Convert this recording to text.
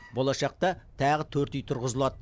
болашақта тағы төрт үй тұрғызылады